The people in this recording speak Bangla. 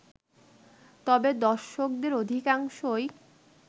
তবে দর্শকদের অধিকাংশই